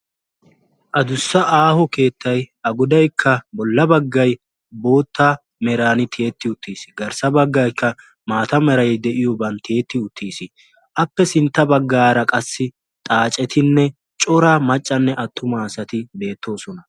addussa aaho keettay goddaykka bootta merani tiyeti uttiisi xade bagaykka maatta merani tiyettiisi appe sinttanikka xaacetine cora maccane attuma asati eqidossona.